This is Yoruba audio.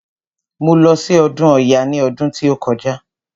Mo lọ sí ọdún ọya ní ọdún tí ó kọjá.